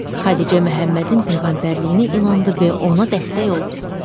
Xədicə Məhəmmədin peyğəmbərliyinə inandı və ona dəstək oldu.